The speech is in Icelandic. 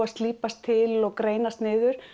að slípast til og greinast niður